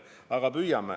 Aga ma püüan.